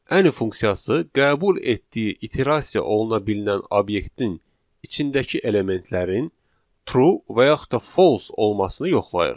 Any funksiyası qəbul etdiyi iterasiya oluna bilinən obyektin içindəki elementlərin true və yaxud da false olmasını yoxlayır.